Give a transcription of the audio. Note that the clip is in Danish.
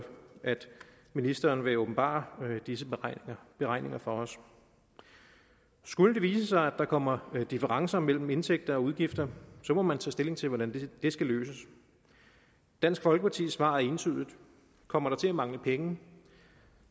ministeren vil åbenbare disse beregninger for os skulle det vise sig at der kommer differencer mellem indtægter og udgifter må man tage stilling til hvordan det skal løses dansk folkepartis svar er entydigt kommer der til at mangle penge